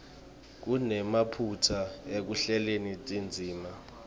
kunemaphutsa ekuhleleni tindzima